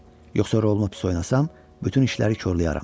Yoxsa rolumu pis oynasam, bütün işləri korlayaram.